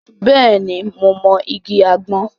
Bẹ́ẹ̀ ni, mo mọ igi àgbọn.